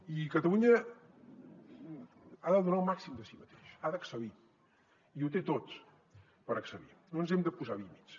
i catalunya ha de donar el màxim de si mateixa ha d’excel·lir i ho té tot per excel·lir no ens hem de posar límits